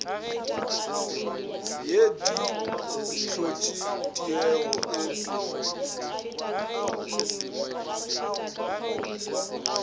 ye di hlotše tiego e